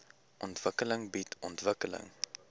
ontwikkeling bied ontwikkeling